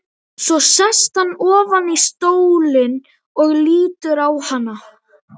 Svo sest hann ofar í stólinn og lítur á hana.